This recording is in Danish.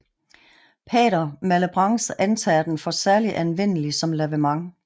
Pater Malebranche antager den for særlig anvendelig som lavement